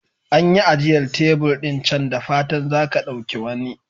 An yi ajiyar tebur ɗin can, da fatan za ka ɗauki wani.